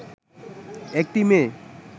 একটি মেয়ে